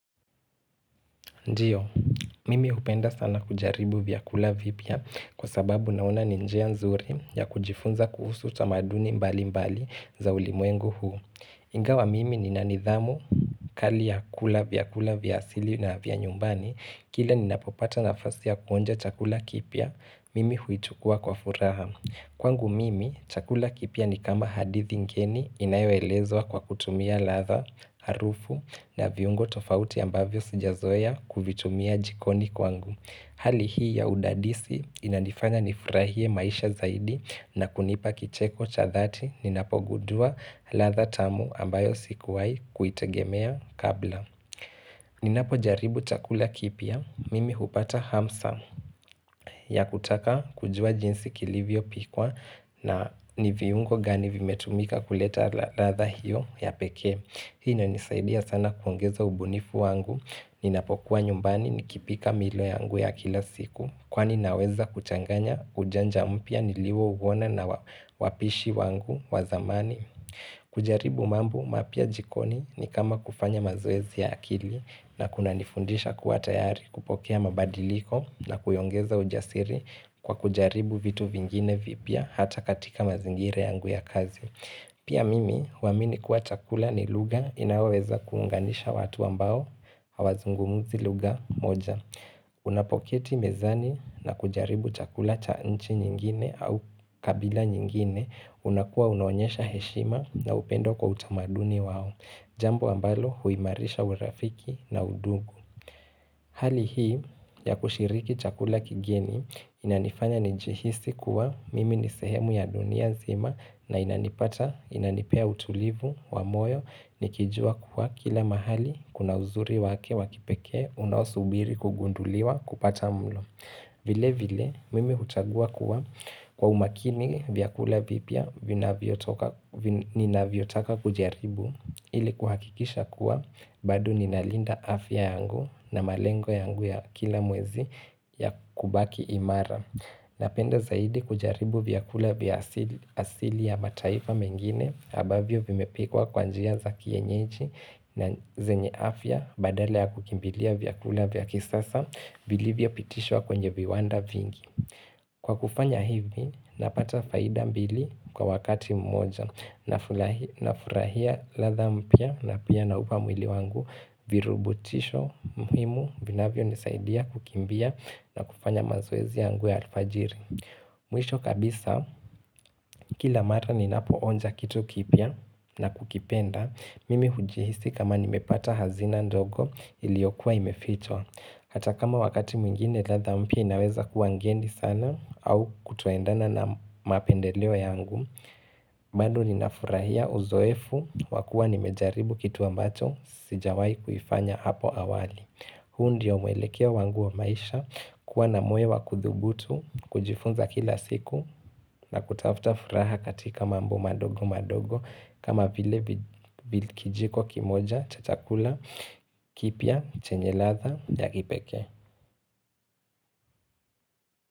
Ndio, mimi hupenda sana kujaribu vyakula vipya kwa sababu naona ni njia nzuri ya kujifunza kuhusu tamaduni mbali mbali za ulimwengu huu. Ingawa mimi nina nidhamu kali ya kula vyakula vya asili na vya nyumbani, kile ninapopata nafasi ya kuonja chakula kipya, mimi huichukua kwa furaha. Kwangu mimi, chakula kipya ni kama hadithi ngeni inayoelezwa kwa kutumia ladha, harufu na viungo tofauti ambavyo sijazoea kuvitumia jikoni kwangu. Hali hii ya udadisi inanifanya nifurahie maisha zaidi na kunipa kicheko cha dhati ninapogundua ladha tamu ambayo sikuwahi kuitegemea kabla. Ninapojaribu chakula kipya, mimi hupata hamsa ya kutaka kujua jinsi kilivyopikwa na ni viungo gani vimetumika kuleta ladha hiyo ya pekee. Hii inanisaidia sana kuongeza ubunifu wangu, ninapokuwa nyumbani nikipika milo yangu ya kila siku Kwani naweza kuchanganya ujanja mpya niliouona na wapishi wangu wa zamani kujaribu mambo mapya jikoni ni kama kufanya mazoezi ya akili na kunanifundisha kuwa tayari kupokea mabadiliko na kuyaongeza ujasiri kwa kujaribu vitu vingine vipya hata katika mazingira yangu ya kazi Pia mimi huamini kuwa chakula ni lugha inayoweza kuunganisha watu ambao hawazungumzi lugha moja. Unapoketi mezani na kujaribu chakula cha nchi nyingine au kabila nyingine unakuwa unaonyesha heshima na upendo kwa utamaduni wao Jambo ambalo huimarisha urafiki na undugu Hali hii ya kushiriki chakula kigeni inanifanya nijihisi kuwa mimi ni sehemu ya dunia nzima na inanipata inanipea utulivu wa moyo nikijua kuwa kila mahali Kuna uzuri wake wa kipekee unaosubiri kugunduliwa kupata mlo vile vile mimi hutagua kuwa kwa umakini vyakula vipya ninavyotaka kujaribu ili kuhakikisha kuwa bado ninalinda afya yangu na malengo yangu ya kila mwezi ya kubaki imara Napenda zaidi kujaribu vyakula vya asili ya mataifa mengine ambavyo vimepikwa kwa njia za kienyeji na zenye afya badala ya kukimbilia vyakula vya kisasa Vilivyopitishwa kwenye viwanda vingi. Kwa kufanya hivi napata faida mbili kwa wakati mmoja Nafurahia ladha mpya na pia naupa mwili wangu virubutisho muhimu vinavyonisaidia kukimbia na kufanya mazoezi yangu ya alfajiri Mwisho kabisa kila mara ninapoonja kitu kipya na kukipenda, mimi hujihisi kama nimepata hazina ndogo iliyokuwa imefichwa Hata kama wakati mwingine ladha mpya inaweza kuwa ngeni sana au kutoendana na mapendeleo yangu bado ninafurahia uzoefu wa kuwa nimejaribu kitu ambacho sijawahi kufanya hapo awali huu ndio mwelekeo wangu wa maisha kuwa na moyo wa kuthubutu, kujifunza kila siku na kutafuta furaha katika mambo madogo madogo kama vile kijiko kimoja, cha chakula, kipya, chenye ladha, ndagi pekee.